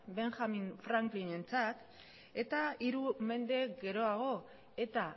benjamin franklinentzat eta hiru mende geroago eta